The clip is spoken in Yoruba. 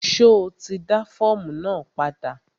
Ṣo ti dá fọ́ọ̀mù náà padà?